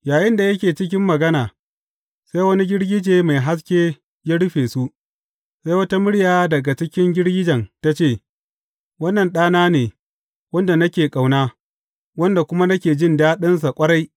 Yayinda yake cikin magana, sai wani girgije mai haske ya rufe su, sai wata murya daga cikin girgijen ta ce, Wannan Ɗana ne, wanda nake ƙauna; wanda kuma nake jin daɗinsa ƙwarai.